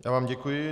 Já vám děkuji.